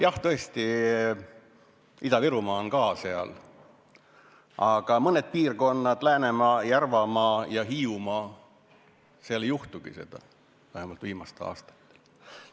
Jah, tõesti, Ida-Virumaa on ka seal eespool, aga mõnes piirkonnas – Läänemaal, Järvamaal ja Hiiumaal – pole seda vähemalt viimastel aastatel juhtunud.